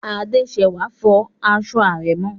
Adésẹwà n fọ aṣọ àrẹ̀mọ